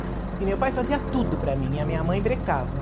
Porque meu pai fazia tudo para mim e a minha mãe brecava.